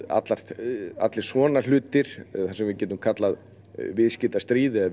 allir allir svona hlutir það sem við getum kallað viðskiptastríð eða